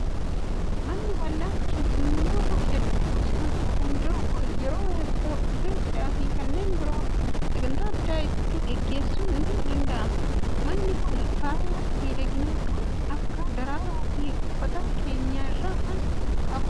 Manni bal'aan keessummoota hedduu simachuu danda'u kun yeroo eebbaa, guyyaa cidhaa fi kanneen biroo sagantaa addaa itti gaggeessuun ni danda'ama. Manni kun faaya miidhaginaa kan akka daraaraa fi uffata keenyan irraa kan qabudha.